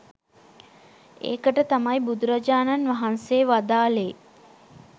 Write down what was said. ඒකට තමයි බුදුරජාණන් වහන්සේ වදාළේ